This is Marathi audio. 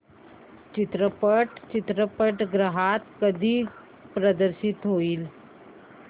चित्रपट चित्रपटगृहात कधी प्रदर्शित होईल